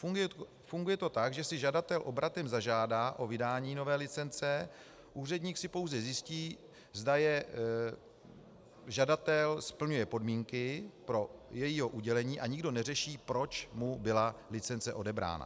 Funguje to tak, že si žadatel obratem zažádá o vydání nové licence, úředník si pouze zjistí, zda žadatel splňuje podmínky pro její udělení, a nikdo neřeší, proč mu byla licence odebrána.